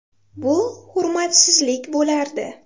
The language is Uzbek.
Bu hurmatsizlik bo‘lardi.